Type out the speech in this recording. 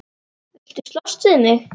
Viltu slást við mig?